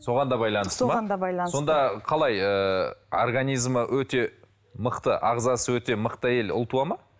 соған да байланысты ма соған да байланысты сонда қалай ыыы организмі өте мықты ағзасы өте мықты әйел ұл туады ма